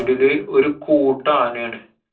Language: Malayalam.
സൈഡില് ഒരു കൂട്ടം ആനയാണ്.